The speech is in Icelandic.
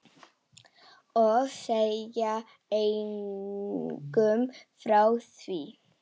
Og segja engum frá því.